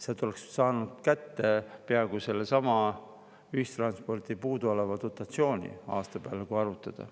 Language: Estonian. Sealt oleks saanud kätte peaaegu sellesama ühistranspordi puuduoleva dotatsiooni, kui aasta peale arvutada.